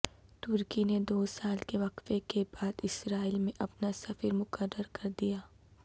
ترکی نے دو سال کے وقفہ کے بعد اسرائیل میں اپنا سفیر مقرر کر دیا